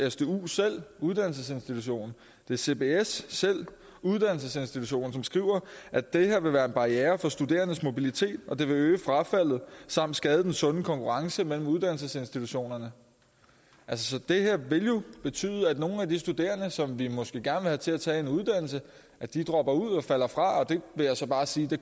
uddannelsesinstitutionen det er cbs selv uddannelsesinstitutionen som skriver at det her vil være en barriere for studerendes mobilitet og at det vil øge frafaldet samt skade den sunde konkurrence mellem uddannelsesinstitutionerne så det her vil jo betyde at nogle af de studerende som vi måske gerne til at tage en uddannelse dropper ud og falder fra og det vil jeg så bare sige